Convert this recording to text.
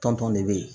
Tɔn tɔn de bɛ yen